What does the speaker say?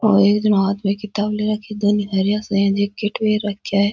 और एक हाथ में किताब ले रखा है दो थेलिया सी है एक किट भी रखया है।